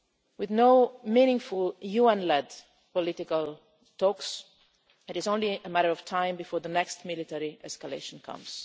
With no meaningful UN led political talks, it is only a matter of time before the next military escalation comes.